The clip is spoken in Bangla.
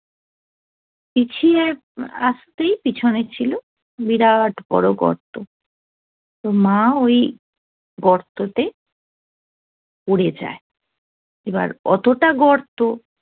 পিছিয়ে আসতেই পিছনে ছিল বিরাট বড় গর্ত তো মা ওই গর্ততে পড়ে যায় এবার অতটা গর্ত